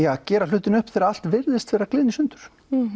að gera hlutina upp þegar allt virðist gliðna í sundur